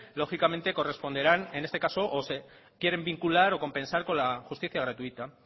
lógicamente corresponderán en este caso se quieren vincular o compensar con la justicia gratuita